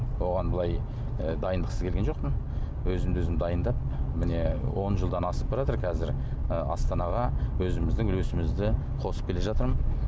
оған былай і дайындықсыз келген жоқпын өзімді өзім дайындап міне он жылдан асып баратыр қазір ы астанаға өзіміздің үлесімізді қосып келе жатырмын